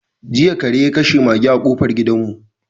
Jiya kare ya kashe maga a kofar gidanmu.